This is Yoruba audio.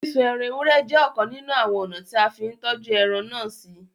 Sísún ẹran èwúrẹ̀ jẹ̀ ọ̀kàn nínu awọn ọna tí a n fì n tọ́jú ẹran násí.